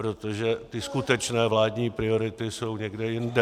Protože ty skutečné vládní priority jsou někde jinde.